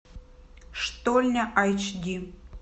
штольня айч ди